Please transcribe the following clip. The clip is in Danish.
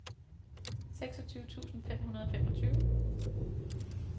seksogtyve tusind fem hundrede og femogtyve